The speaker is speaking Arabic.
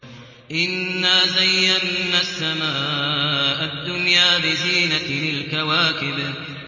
إِنَّا زَيَّنَّا السَّمَاءَ الدُّنْيَا بِزِينَةٍ الْكَوَاكِبِ